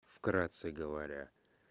вкратце говоря